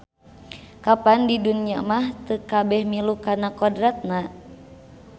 Kapan di dunya mah teu kabeh milu kana kodratna.